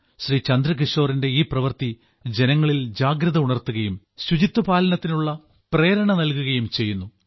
ശ്രീ ചന്ദ്രകിശോറിന്റെ ഈ പ്രവൃത്തി ജനങ്ങളിൽ ജാഗ്രത ഉണർത്തുകയും ശുചിത്വപാലനത്തിനുള്ള പ്രേരണ നൽകുകയും ചെയ്യുന്നു